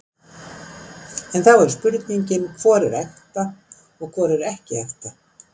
En þá er spurningin, hvor er ekta og hvor er ekki ekta?